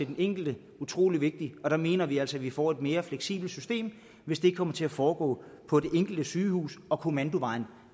den enkelte utrolig vigtigt og der mener vi altså at vi får et mere fleksibelt system hvis det kommer til at foregå på det enkelte sygehus hvor kommandovejen